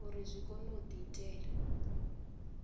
uri zwi kone u diitela